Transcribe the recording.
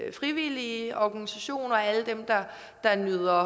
de frivillige organisationer alle dem der nyder